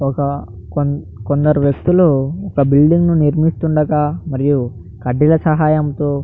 కొందరు వ్యక్తులు బిల్డింగ్ నిర్మిస్తుండగా మరియు కడ్డీల సహాయంతో --